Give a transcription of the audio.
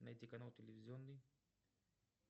найди канал телевизионный